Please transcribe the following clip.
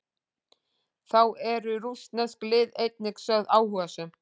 Þá eru rússnesk lið einnig sögð áhugasöm.